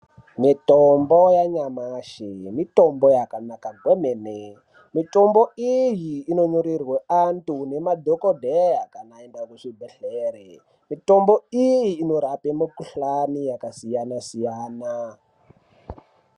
Mitombo yanyamashi mitombo yakanaka kwemene mitombo iyi inonyorerwe antu nemadhokodheya kana aende kuzvibhehlere mitombo iyi inorape mikhuhlani yakasiyanasiyana.